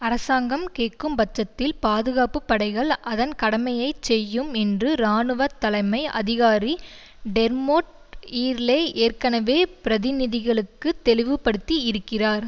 அரசாங்கம் கேட்கும்பட்சத்தில் பாதுகாப்பு படைகள் அதன் கடமையை செய்யும் என்று இராணுவ தலைமை அதிகாரி டெர்மொட் ஈர்லே ஏற்கனவே பிரதிநிதிகளுக்கு தெளிவுபடுத்தி இருக்கிறார்